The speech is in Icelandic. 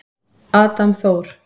Adam Þór.